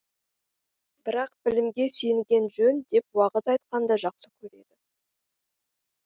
бірақ білімге сүйенген жөн деп уағыз айтқанды жақсы